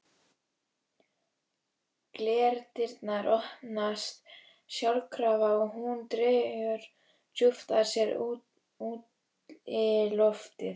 Glerdyrnar opnast sjálfkrafa og hún dregur djúpt að sér útiloftið.